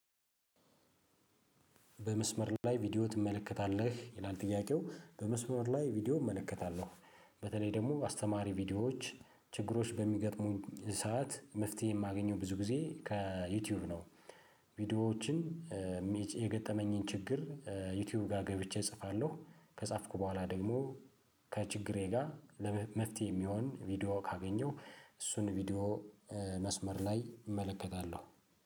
በመስመር ላይ ቪዲዮ ትመለከታለህ ይላል? ጥያቄው በመስመር ላይ ቪዲዮ እመለከታለሁ በተለይ ደግሞ አስተማሪ ቪዲዮዎች ችግሮች በሚገጥሙኝ ሰዓት መፍትሄ የማገኘው ብዙ ጊዜ ከዩቲዩብ ነው። ቪዲዮዎችን የገጠመኝን ችግር ዩቲዩብ ጋር ገብቼ እጽፋለሁ ከጻፍኩ በኋላ ደግሞ ከችግሬ ጋር ለመፍትሄ የሚሆን ቪዲዮ ካገኘሁ እሱን ቪዲዮ። መስመር ላይ እመለከታለሁ